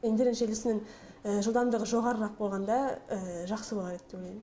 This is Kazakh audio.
интернет желісінің жылдамдығы жоғарырақ болғанда жақсы болар еді деп ойлаймын